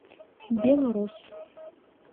белрос